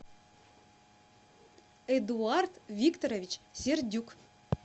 эдуард викторович сердюк